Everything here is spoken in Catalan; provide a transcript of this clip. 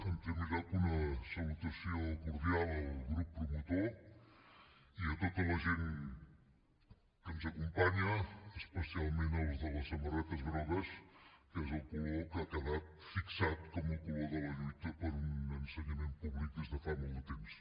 en primer lloc una salutació cordial al grup promotor i a tota la gent que ens acompanya especialment als de les samarretes grogues que és el color que ha quedat fixat com el color de la lluita per un ensenyament públic des de fa molt de temps